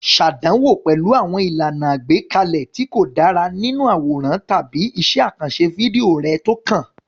Ṣàdánwò pẹ̀lú àwọn ìlànà àgbékalẹ̀ tí kò dára nínú àwòrán tàbí iṣẹ́ àkànṣe fídíò rẹ tó kàn.